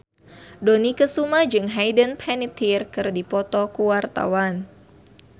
Dony Kesuma jeung Hayden Panettiere keur dipoto ku wartawan